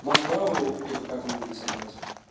ландау или какая там улица блять